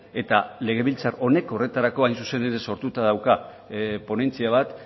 eta legebiltzar honek horretarako hain zuzen ere sortuta dauka ponentzia bat